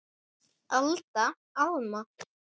Alda, Alma.